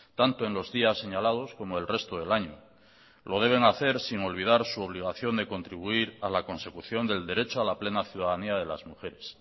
tanto en los días señalados como el resto del año lo deben hacer sin olvidar su obligación de contribuir a la consecución del derecho a la plena ciudadanía de las mujeres